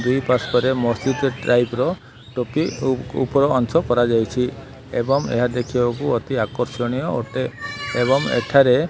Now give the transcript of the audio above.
ଦୁଇ ପାର୍ଶ୍ଵରେ ମସଜିଦ ଟାଇପ ର ଟୋପି ଓ ଉପର ଅଂଶ କରାଯାଇଛି। ଏବଂ ଏହା ଦେଖିବାକୁ ଅତି ଆକର୍ଷଣୀୟ ଅଟେ ଏବଂ ଏଠାରେ --